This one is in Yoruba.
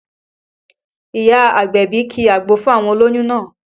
Ìyá agbẹ̀bí ki àgbo fún àwọn olóyún náà